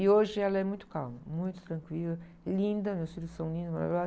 E hoje ela é muito calma, muito tranquila, e linda, meus filhos são lindos, maravilhosos.